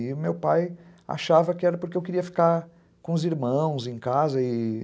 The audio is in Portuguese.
E meu pai achava que era porque eu queria ficar com os irmãos em casa, e...